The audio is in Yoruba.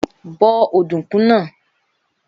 Bó ọ̀dùnkún náà!